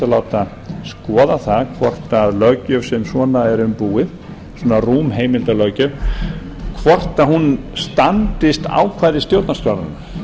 láta skoða það hvort svona löggjöf sem svona er um búið svona rúm heimildarlöggjöf hvort hún standist ákvæði stjórnarskrárinnar